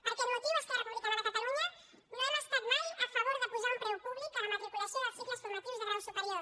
per aquest motiu esquerra republica·na de catalunya no hem estat mai a favor de posar un preu públic a la matriculació dels cicles formatius de grau superior